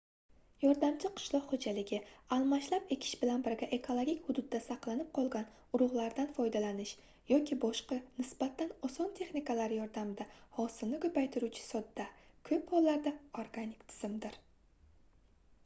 yordamchi qishloq xoʻjaligi almashlab ekish bilan birga ekologik hududda saqlanib qolgan urugʻlardan foydalanish yoki boshqa nisbatan oson texnikalar yordamida hosilni koʻpaytiruvchi sodda koʻp hollarda organik tizimdir